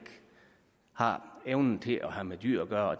har evnen til at have med dyr at gøre